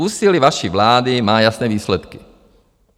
Úsilí vaší vlády má jasné výsledky.